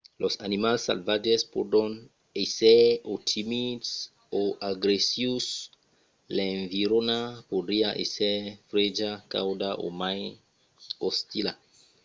los animals salvatges pòdon èsser o timids o agressius. l’environa podriá èsser freja cauda o mai ostila